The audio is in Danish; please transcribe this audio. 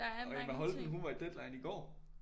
Og Emma Holten hun var i Deadline i går